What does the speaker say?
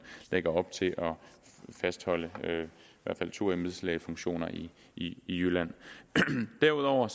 lægger op til at fastholde i hvert fald to embedslægefunktioner i i jylland derudover